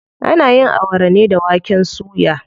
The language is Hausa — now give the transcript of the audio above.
Ana yin Awara ne da waken suya.